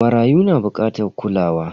Marayu na bukatar kulawa.